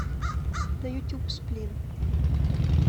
на ютюб сплин